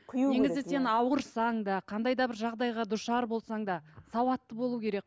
негізі сен ауырсаң да қандай да бір жағдайға душар болсаң да сауатты болу керек